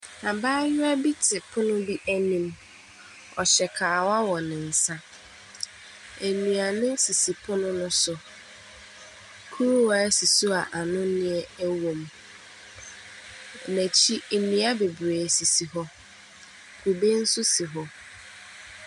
Abayewa bi te pono bi anim. Ɔhyɛ kawa wɔ ne nsa. Nnuane sisi pono no so. Kuruwa si so a anonneɛ wom. N'akyi, nnua bebree sisi hɔ. Kube nso si hɔ.